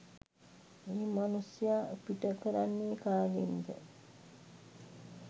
ඒ මනුස්සය පිට කරන්නෙ කාගෙන්ද.